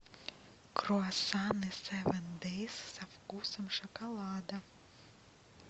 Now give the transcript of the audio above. круассаны севен дейс со вкусом шоколада